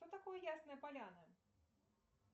что такое ясная поляна